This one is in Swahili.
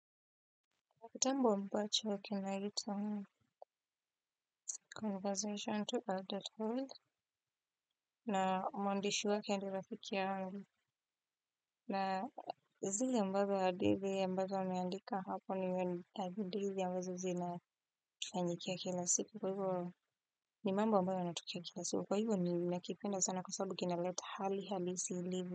Kitabu ambacho kinaitwa conversation to adult hood na mwandishi wake ni rafiki yangu. Na zile ambazoo hadithi ambazo ameandika hapo ni Mbabumeandika haponi Mbaba adeve ya wazuzi na kifanyikia kilasiku. Kwa hivyo ni mambo ambayo yanatoka kila siku. Kwa hivyo nimenakipenda sana kwa sabubu kina let hali halisi ilivyo.